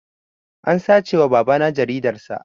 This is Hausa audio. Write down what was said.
An sace wa babana jaridar sa